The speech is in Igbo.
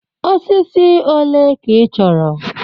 Osisi ole ka ị chọrọ?